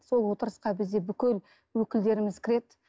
сол отырысқа бізде бүкіл өкілдеріміз кіреді